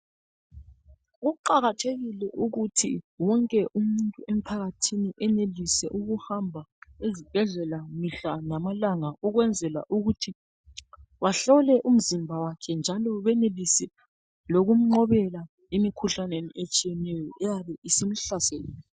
Kuqakathekile ukuthi wonke umuntu emphakathini enelise ukuhamba ezibhedlela mihla lamalanga. Ukwenzela ukuthi bahlole umzimba wakhe njalo benelise lokumnqobela emikhuhlaneni etshiyeneyo eyabe isimhlasele.